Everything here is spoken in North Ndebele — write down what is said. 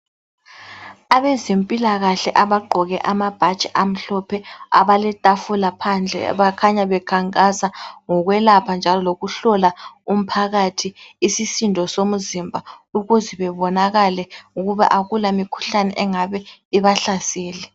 Abezempilakahle abagqoke amabhatshi amhlophe abale tafula phandle bakhanya bekhankasa ngokwelapha njalo lokuhlola umphakathi isisindo somzimba ukuze bebonakale ukuba akula mikhuhlane engabe ibahlasele.